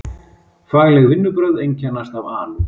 Fagleg vinnubrögð einkennast af alúð.